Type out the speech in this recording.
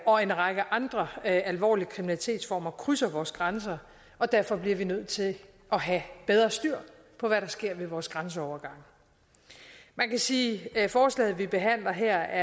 og en række andre alvorlige kriminalitetsformer krydser vores grænser og derfor bliver vi nødt til at have bedre styr på hvad der sker ved vores grænseovergange man kan sige at forslaget vi behandler her